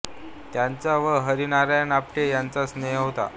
त्यांचा व हरी नारायण आपटे यांचा स्नेह होता